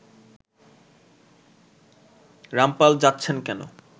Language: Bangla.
রামপাল যাচ্ছেন কেন